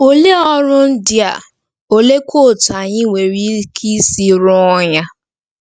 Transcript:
Olee ọrụ ndị a, oleekwa otú anyị nwere ike isi rụọ ya?